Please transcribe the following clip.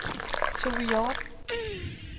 Tove Hjorth